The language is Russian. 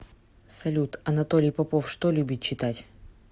салют анатолий попов что любит читать